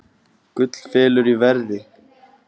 Gull fellur í verði